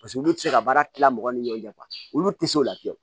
Paseke olu tɛ se ka baara tila mɔgɔw ni ɲɔgɔn cɛ olu tɛ se o la fiyewu